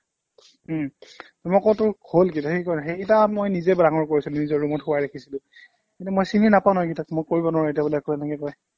উম মই কওঁ তোৰ হ'ল কি সি কয় সেইকিটা মই নিজে ডাঙৰ কৰিছিলো নিজৰ ৰূমত খোৱাই ৰাখিছিলো মানে মই চিনি নাপাওঁ ন এইকিটাক মই কৰিব নোৱাৰো এতিয়া বোলে একো এনেকে কয়